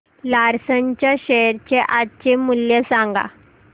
Larsen च्या share चे आजचे मूल्य सांगा